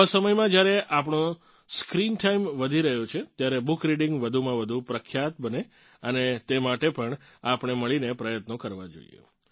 આવા સમયમાં જ્યારે આપણો સ્ક્રિન ટાઇમ વધી રહ્યો છે ત્યારે બુક રિડીંગ વધુમાં વધું પ્રખ્યાત બને તે માટે પણ આપણે મળીને પ્રયત્નો કરવાં જોઇએ